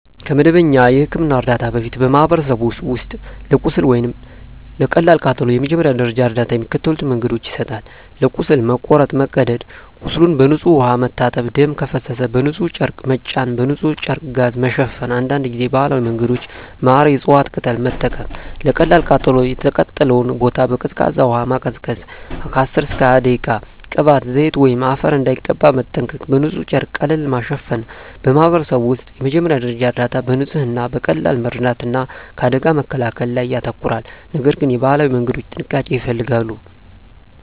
ከመደበኛ የሕክምና እርዳታ በፊት፣ በማኅበረሰቦች ውስጥ ለቁስል ወይም ለቀላል ቃጠሎ የመጀመሪያ ደረጃ እርዳታ በሚከተሉት መንገዶች ይሰጣል፦ ለቁስል (መቁረጥ፣ መቀደድ) ቁስሉን በንጹሕ ውሃ መታጠብ ደም ከፈሰሰ በንጹሕ ጨርቅ መጫን በንጹሕ ጨርቅ/ጋዝ መሸፈን አንዳንድ ጊዜ ባህላዊ መንገዶች (ማር፣ የእፅዋት ቅጠል) መጠቀም 2. ለቀላል ቃጠሎ የተቃጠለውን ቦታ በቀዝቃዛ ውሃ ማቀዝቀዝ (10–20 ደቂቃ) ቅባት፣ ዘይት ወይም አፈር እንዳይቀባ መጠንቀቅ በንጹሕ ጨርቅ ቀለል ማሸፈን በማኅበረሰብ ውስጥ የመጀመሪያ ደረጃ እርዳታ በንጽህና፣ በቀላል መርዳት እና ከአደጋ መከላከል ላይ ያተኮራል፤ ነገር ግን የባህላዊ መንገዶች ጥንቃቄ ይፈልጋሉ።